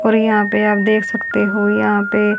और यहां पे आप देख सकते हो यहां पे--